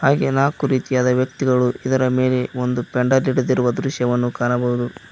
ಹಾಗೆ ನಾಕು ರೀತಿಯಾದ ವ್ಯಕ್ತಿಗಳು ಇದರ ಮೇಲೆ ಒಂದು ಪೆಂಡಲ್ ಹಿಡಿದಿರುವ ದೃಶ್ಯವನ್ನು ಕಾಣಬಹುದು.